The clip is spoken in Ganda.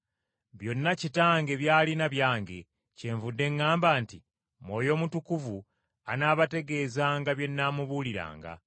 Byonna Kitange by’alina byange, kyenvudde ŋŋamba nti Mwoyo Mutukuvu anaabategeezanga bye nnaamubuuliranga.